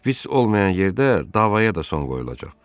Şpiç olmayan yerdə davaya da son qoyulacaq.